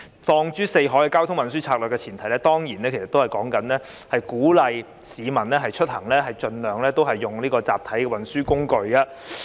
放諸四海，交通運輸策略的前提當然是鼓勵市民出行盡量使用集體運輸工具。